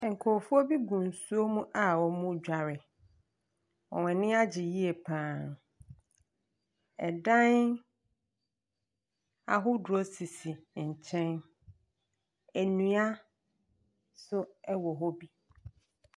Nkorɔfoɔbi gu nsuo mu a ɔmoo dware. Wɔn ani agye yie paa. Ɛdan ahodoɔ sisi nkyɛn. Nnua so ɛwɔ hɔ bi.